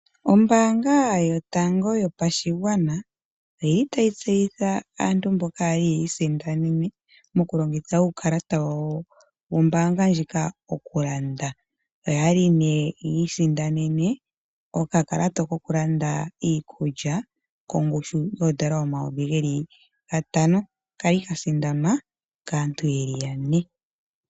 Ombaanga yotango yopashigwana otayi tseyitha aantu mboka ya li yi isindanene mokulongitha uukalata wawo wombaanga ndjika okulanda. Oya li yi isindanene okakalata kokulanda iikulya kongushu yoodola omayovi gatano ka li ka sindanwa kaantu ye li yane.